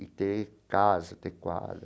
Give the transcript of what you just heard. E ter casa adequada.